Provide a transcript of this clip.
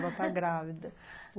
Ela está grávida.